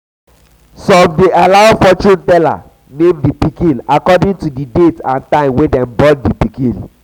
some de allow fortune teller name di pikin according to date and time wey dem born di pikin